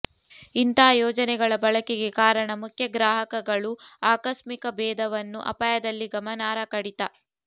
ಇಂತಹ ಯೋಜನೆಗಳ ಬಳಕೆಗೆ ಕಾರಣ ಮುಖ್ಯ ಗ್ರಾಹಕಗಳು ಆಕಸ್ಮಿಕ ಬೇಧವನ್ನು ಅಪಾಯದಲ್ಲಿ ಗಮನಾರ್ಹ ಕಡಿತ